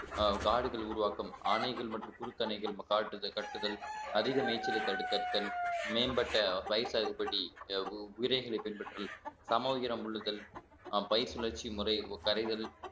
அஹ் காடுகள் உருவாக்கும் ஆணைகள் மற்றும் குறுக்கணைகள் மகாகாட்டுதல் கட்டுதல் அதிக மேய்ச்சலை தடுத்தல் மேம்பட்ட பயிர் சாகுபடி விதைகளைப் பின்பற்றுதல் சமவீரமுள்ளுதல் அஹ் பை சுழற்சி முறை கரைதல்